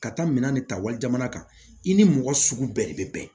Ka taa minɛn de ta wali jamana kan i ni mɔgɔ sugu bɛɛ de bɛ bɛn